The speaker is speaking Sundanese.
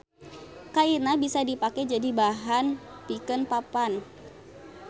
Kaina bisa dipake jadi bahan pikeun papan.